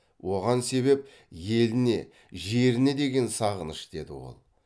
оған себеп еліне жеріне деген сағыныш деді ол